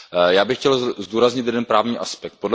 Já bych chtěl zdůraznit jeden právní aspekt.